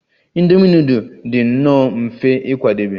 Indomi nudul dị nnọọ mfe ịkwadebe